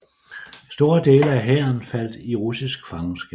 Store dele af hæren faldt i russisk fangenskab